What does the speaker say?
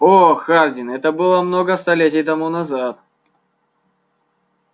о хардин это было много столетий тому назад